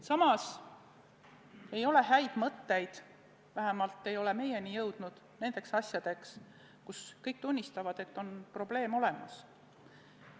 Samas ei ole häid mõtteid – vähemalt ei ole need meieni jõudnud – nende asjade lahendamiseks, mille puhul kõik tunnistavad, et on probleem olemas.